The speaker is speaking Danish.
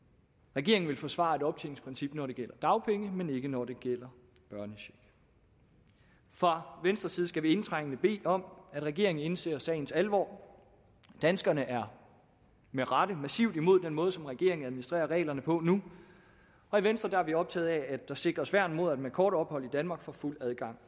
regeringen vil forsvare et optjeningsprincip når det gælder dagpenge men ikke når det gælder børnecheck fra venstres side skal vi indtrængende bede om at regeringen indser sagens alvor danskerne er med rette massivt imod den måde som regeringen administrerer reglerne på nu og i venstre er vi optaget af at der sikres værn mod at man efter kort ophold i danmark får fuld adgang